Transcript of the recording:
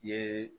I ye